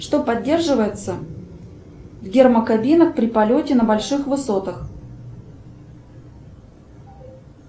что поддерживается в гермокабинах при полете на больших высотах